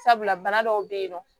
Sabula bana dɔw be yennɔ